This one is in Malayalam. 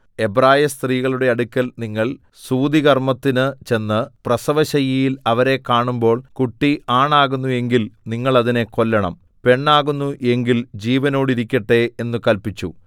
എബ്രായസ്ത്രീകളുടെ അടുക്കൽ നിങ്ങൾ സൂതികർമ്മത്തിന് ചെന്ന് പ്രസവശയ്യയിൽ അവരെ കാണുമ്പോൾ കുട്ടി ആണാകുന്നു എങ്കിൽ നിങ്ങൾ അതിനെ കൊല്ലണം പെണ്ണാകുന്നു എങ്കിൽ ജീവനോടിരിക്കട്ടെ എന്നു കല്പിച്ചു